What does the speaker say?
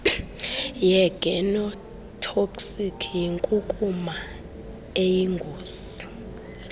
yegenotoxic yinkunkuma eyingozi